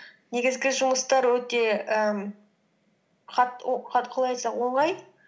негізгі жұмыстары өте ііі қалай айтсам оңай